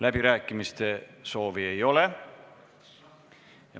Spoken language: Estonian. Läbirääkimiste soovi ei ole.